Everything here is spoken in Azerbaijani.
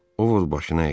O başını əydi.